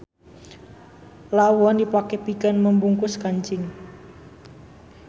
Lawon dipake pikeun membungkus kancing.